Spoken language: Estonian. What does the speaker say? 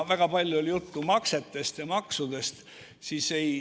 Väga palju oli juttu maksetest ja maksudest.